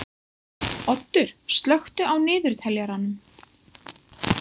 Oddur, slökktu á niðurteljaranum.